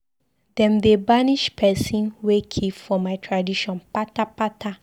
Dem dey banish pesin wey kill for my tradition kpata kpata.